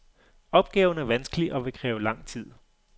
Opgaven er vanskelig og vil kræve lang tid.